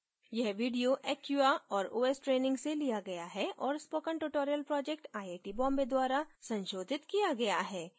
यह video acquia और os training से लिया गया है और spoken tutorial project IIT Bombay द्वारा संशोधित किया गया है